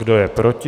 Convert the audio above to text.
Kdo je proti?